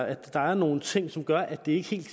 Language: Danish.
at der er nogle ting som gør at det ikke helt